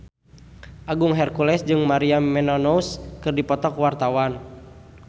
Agung Hercules jeung Maria Menounos keur dipoto ku wartawan